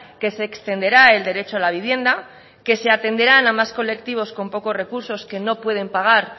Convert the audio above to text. que se extenderá el derecho a la vivienda que se atenderán a más colectivos con pocos recursos que no pueden pagar